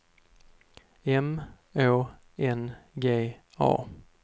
M Å N G A